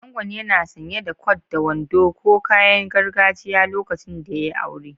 Angon yana sanye da kwat da wando ko kayan gargajiya lokacin da ya yi aure.